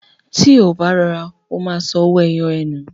Tí ó bá rọra, ó ma sọ owó ẹyọ ẹ nù